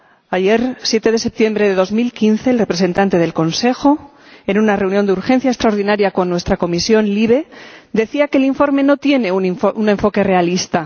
Ayer, 7 de septiembre de 2015, el representante del Consejo, en una reunión de urgencia extraordinaria con nuestra Comisión LIBE, decía que el informe no tiene un enfoque realista.